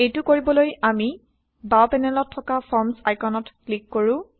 এইটো কৰিবলৈ আমি বাও পেনেলত থকা ফৰ্মচ আইকনত ক্লিক কৰো